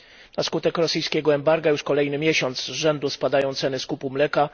Na skutek rosyjskiego embarga już kolejny miesiąc z rzędu spadają ceny skupu mleka.